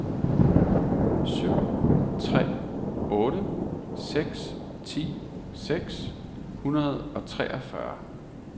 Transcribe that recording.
syv tre otte seks ti seks hundrede og treogfyrre